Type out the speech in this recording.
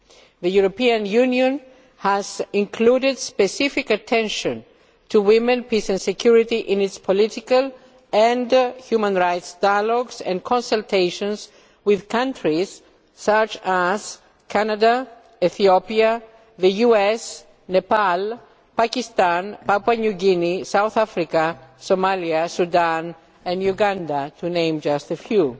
The European Union has included specific attention to women, peace and security in its political and human rights dialogues and consultations with countries such as Canada, Ethiopia, the US, Nepal, Pakistan, Papua New Guinea, South Africa, Somalia, Sudan and Uganda, to name but a few.